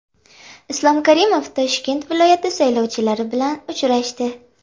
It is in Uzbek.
Islom Karimov Toshkent viloyati saylovchilari bilan uchrashdi.